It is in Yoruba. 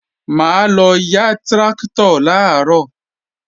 Mà á lọ yá tráktọ̀ làárọ̀